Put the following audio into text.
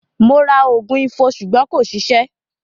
Mo ra ògùn Ifo ṣùgbọ́n kò ṣiṣẹ́.